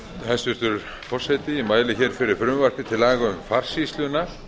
hæstvirtur forseti ég mæli hér fyrir frumvarpi til laga um farsýsluna